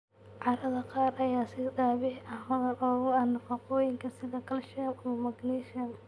Carrada qaar ayaa si dabiici ah hodan ugu ah nafaqooyinka, sida calcium ama magnesium.